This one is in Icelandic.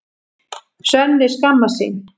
Svenni skammast sín.